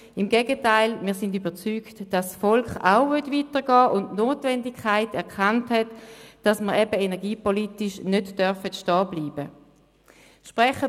Im Gegenteil, wir sind überzeugt, dass auch das Volk weitergehen will und die Notwendigkeit erkannt hat, dass man energiepolitisch nicht stehenbleiben darf.